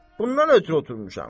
Bundan ötrü oturmuşam.